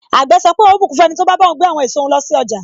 Àgbè sọ pé, ohun ó bùkún fún ẹniti o ba bá ohun gbé àwọn èso òhun lọ sí ọjà.